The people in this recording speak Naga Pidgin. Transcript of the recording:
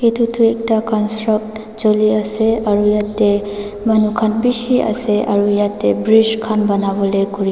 etu tu ekta construct choli ase aro yate manu khan bishi ase aro yate bridge khan bona bole kori ase.